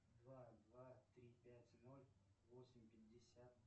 два два три пять ноль восемь пятьдесят